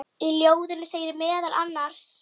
Í ljóðinu segir meðal annars